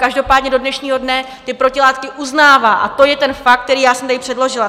Každopádně do dnešního dne ty protilátky uznává, a to je ten fakt, který já jsem tady předložila.